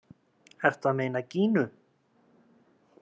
Ertu að meina Gínu?